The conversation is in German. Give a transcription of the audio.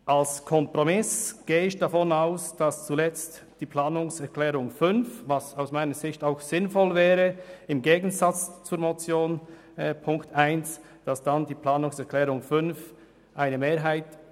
Ich gehe davon aus, dass die Planungserklärung 5 als Kompromiss eine Mehrheit finden wird, was ich persönlich als sinnvoll erachte.